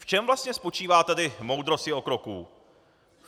V čem vlastně spočívá tedy moudrost jeho kroků?